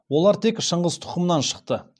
олар тек шыңғыс тұқымынан шықты